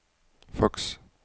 faks